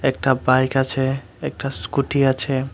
একটা বাইক আছে একটা স্কুটি আছে।